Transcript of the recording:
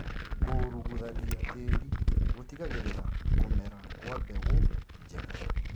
Kũruguthania tĩri gũtigagĩrĩra kũmera kwa mbegũ njega